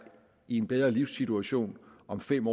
i en bedre livssituation om fem